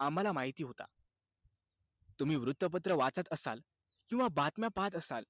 आम्हाला माहिती होता. तुम्ही वृत्तपत्र वाचत असाल किंवा बातम्या पाहत असाल,